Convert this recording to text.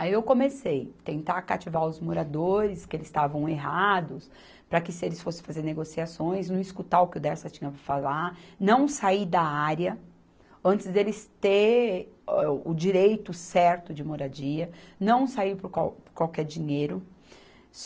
Aí eu comecei tentar cativar os moradores, que eles estavam errados, para que se eles fossem fazer negociações, não escutar o que o Dersa tinha para falar, não sair da área antes deles terem o, o direito certo de moradia, não sair por qual, qualquer dinheiro.